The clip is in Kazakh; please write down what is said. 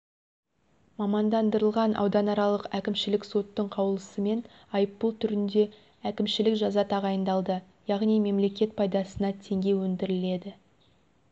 мамандандырылған ауданаралық әкімшілік соттың қаулысымен айыппұл түрінде әкімшілік жаза тағайындалды яғни мемлекет пайдасына теңге өндіріледі